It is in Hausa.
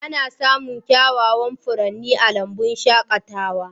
Ana samun kyawawan furanni a lambun shaƙatawa.